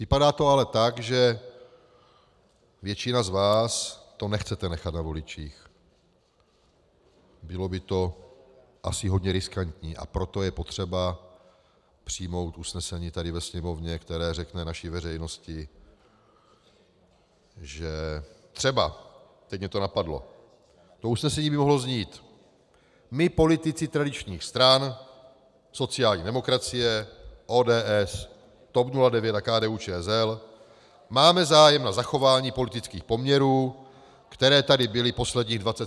Vypadá to ale tak, že většina z vás to nechcete nechat na voličích, bylo by to asi hodně riskantní, a proto je potřeba přijmout usnesení tady ve Sněmovně, které řekne naší veřejnosti, že třeba - teď mě to napadlo, to usnesení by mohlo znít: My, politici tradičních stran, sociální demokracie, ODS, TOP 09 a KDU-ČSL, máme zájem na zachování politických poměrů, které tady byly posledních 27 let.